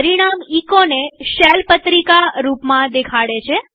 પરિણામ echoને શેલ પત્રિકા રૂપમાં દેખાડે છે